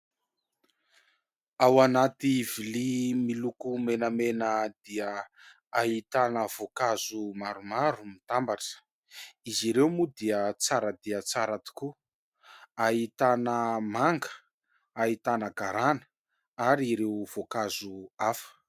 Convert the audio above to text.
Ao anaty lovia miloko menamena dia ahitana voankazo maromaro mitambatra ; izy ireo moa dia tsara dia tsara tokoa, ahitana manga, ahitana garana ary ireo voankazo hafa.